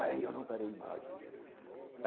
Aí eu não parei mais.